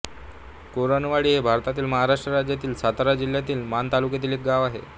कुरणवाडी हे भारतातील महाराष्ट्र राज्यातील सातारा जिल्ह्यातील माण तालुक्यातील एक गाव आहे